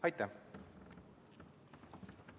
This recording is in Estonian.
Aitäh!